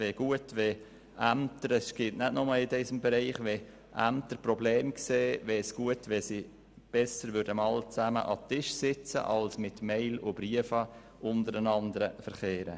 Wenn Ämter Probleme sehen, wäre es besser, wenn sie zusammen an den Tisch sitzen würden, statt mit E-Mails und Briefen untereinander zu verkehren.